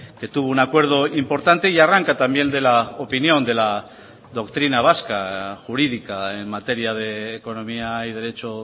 que tuvo un acuerdo importante y arranca también de la opinión de la doctrina vasca jurídica en materia de economía y derecho